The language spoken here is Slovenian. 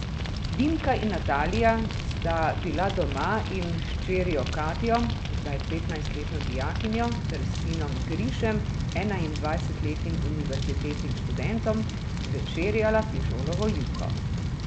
Dimka in Natalija sta bila doma in s hčerjo Katjo, zdaj petnajstletno dijakinjo, ter sinom Grišem, enaindvajsetletnim univerzitetnim študentom, večerjala fižolovo juho.